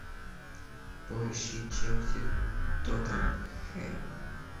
поищи челси тоттенхэм